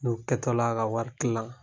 N kɛtɔla ka wari kilan